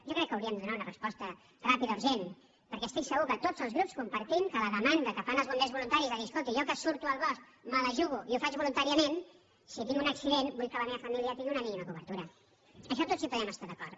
jo crec que hi hauríem de donar una resposta ràpida urgent perquè estic segur que tots els grups compartim que la demanda que fan els bombers voluntaris de dir escolti jo que surto al bosc me la jugo i ho faig voluntàriament si tinc un accident vull que la meva família tingui una mínima cobertura en això tots hi podem estar d’acord